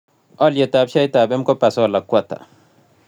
Alyetap sheaitap mkopa solar ko ata